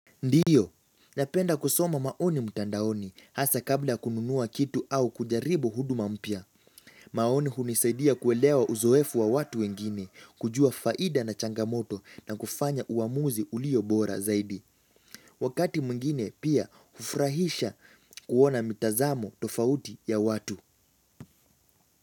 Ndiyo, napenda kusoma maoni mtandaoni hasa kabla kununua kitu au kujaribu huduma mpya. Maoni hunisaidia kuelewa uzoefu wa watu wengine, kujua faida na changamoto na kufanya uamuzi ulio bora zaidi. Wakati mwingine pia ufrahisha kuona mitazamo tofauti ya watu.